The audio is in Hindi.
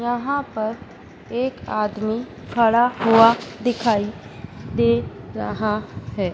यहां पर एक आदमी खड़ा हुआ दिखाई दे रहा हैं।